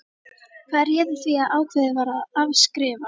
Hvað réði því að ákveðið var að afskrifa?